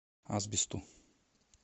асбесту